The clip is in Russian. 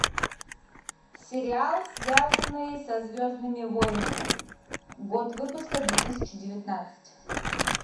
сериал связанный со звездными войнами год выпуска две тысячи девятнадцать